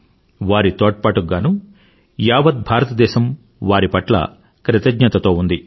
వారి తోడ్పాటుకు గానూ యావత్ భారతదేశం వారి పట్ల కృతజ్ఞతతో ఉంది